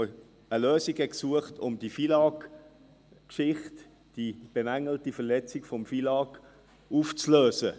Man suchte eine Lösung, um diese FILAG-Geschichte, die bemängelte Verletzung des FILAG, aufzulösen.